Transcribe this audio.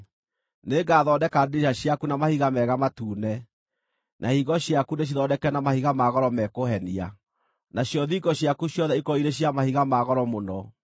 Nĩngathondeka ndirica ciaku na mahiga mega matune, na ihingo ciaku ndĩcithondeke na mahiga ma goro me kũhenia, nacio thingo ciaku ciothe ikorwo irĩ cia mahiga ma goro mũno.